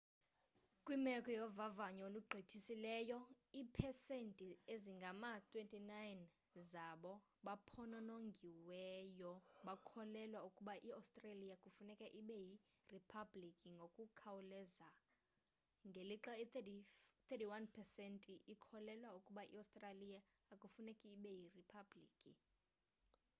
kwimeko yovavanyo olugqithisileyo iipesenti ezingama-29 zabo baphononongiweyo bakholelwa ukuba i-australia kufuneka ibe yiriphabliki ngokukhawuleza ngelixa i-31 pesenti ikholelwa ukuba i-australia akufuneki ibe yiriphabliki